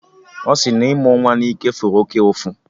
Ọ sị na ịmụ nwa na ike fụrụ oké ụfụ